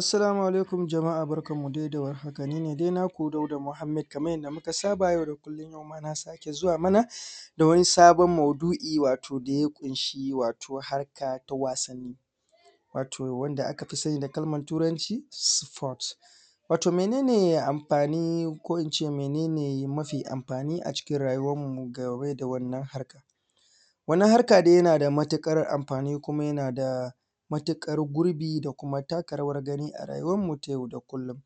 Assalamu alaikum jama'a barkanmu dai da warhaka, ni ne dai naku Dauda muhammed, kamar yadda muka saba yau da kullum, yau na sake zuwa mana da wani sabon maudu'i, wato da ya ƙunshi wato harka ta wasanni, wato wadda aka fi sani da kalmar Turanci sport. Wato mene ne amfani ko in ce mene ne mafi amfani a cikin rayuwarmu game da wannan harkar? Wannan harka dai yana da matuƙar amfani, kuma yana da matuƙar gurbi, da kuma taka rawar gani a rayuwarmu ta yau da kullum.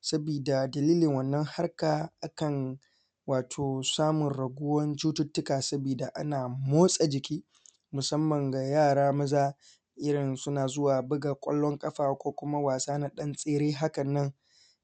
Sabida dalilin wannan harka, akan wato samun raguwan cututtuka saboda ana motsa jiki, musamman ga yara maza, irin suna zuwa buga ƙwallon ƙafa ko kuma wasa na ɗan tsere hakan nan,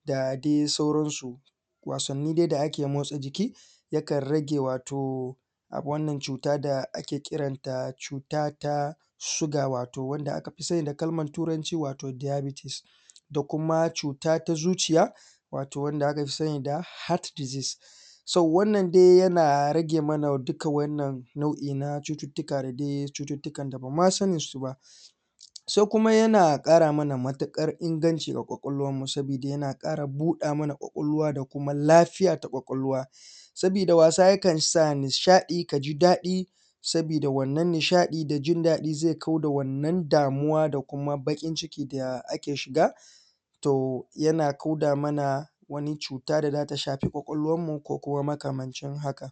da dai sauransu. Wasanni dai da ake motsa jiki, yakan rage wato, wannan cuta da ake kiran ta cuta ta shuga,, wato wanda aka fi sani da kalmar Turanci wato diabetes, da kuma cuta ta zuciya, wato wadda aka fi sani da heart disease. So wannan dai yana rage mana duka wa`innan nau'i na cututtuka, da dai cututtukan da ban mu san da su ba. Sai kuma yana ƙara mana matuƙar inganci a ƙwaƙwalwarmu, saboda yana ƙara buɗa mana ƙwaƙwalwa da kuma lafiya ta ƙwaƙwalwa, sabida wasa yakan sa nishaɗi ka ji daɗi, sabida wannan nishaɗi da jin daɗi zai kau da wannan damuwa, da kuma baƙin ciki da ake shiga, to yana kauda mana wani cuta da za ta shafi ƙwaƙwalwarmu ko kuma makamancin hakan.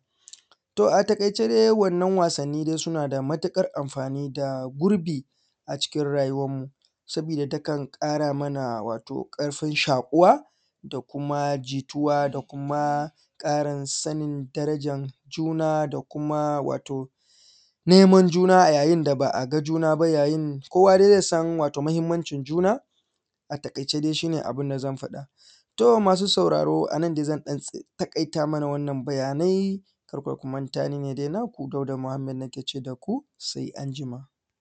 To a taƙaice dai wannan wasanni suna da matuƙar amfan, da gurbi a cikin rayuwarmu, sabida takan ƙara mana wato ƙarfin shaƙuwa, da kuma jituwa, da kuma ƙarin sanin darajar juna, da kuma wato neman juna a yayin da ba a ga juna ba, yayin, kowa dai zai san wato muhimmancin juna, a taƙaice dai shi ne abin da zan faɗa. To masu sauraro, a nan dai zan ɗan taƙaita mana wannan bayanai. Kar fa ku manta dai, ni ne dai naku, Dauda muhammed, nake ce da ku sai anjijma.